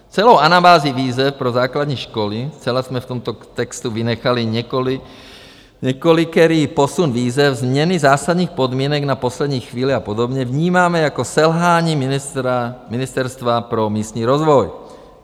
Celou anabázi výzev pro základní školy, zcela jsme v tomto textu vynechali několikerý posun výzev, změny zásadních podmínek na poslední chvíli a podobně, vnímáme jako selhání Ministerstva pro místní rozvoj.